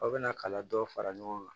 Aw bɛna kalan dɔ fara ɲɔgɔn kan